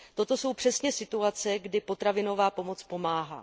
Toto jsou přesně situace, kdy potravinová pomoc pomáhá.